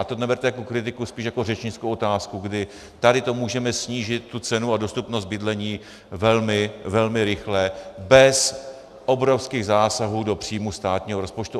A to neberte jako kritiku, spíš jako řečnickou otázku, kdy tady to můžeme snížit, tu cenu a dostupnost bydlení velmi, velmi rychle bez obrovských zásahů do příjmů státního rozpočtu.